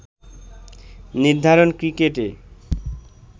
নির্ধারণ ক্রিকেটে